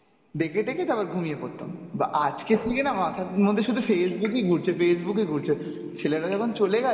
দেখে-টেখে তারপরে ঘুমিয়ে পড়তাম, বা আজকের থেকে না আমার মাথার মধ্যে শুধু Facebook ই ঘুরছ, Facebook ই ঘুরছে। ছেলেটা যখন চলে গেলো